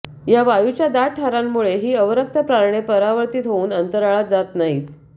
या वायूच्या दाट थारांमुळे ही अवरक्त प्रारणे परावर्तीत होऊन अंतराळात जात नाहीत